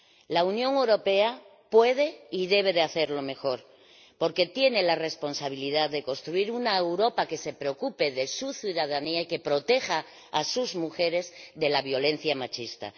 La Unión Europea puede y debe hacerlo mejor porque tiene la responsabilidad de construir una Europa que se preocupe de su ciudadanía y que proteja a sus mujeres de la violencia machista.